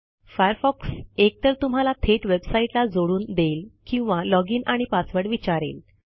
Firefox एकतर तुम्हाला थेट वेबसाईटला जोडून देईल किंवा लॉजिन आणि पासवर्ड विचारेल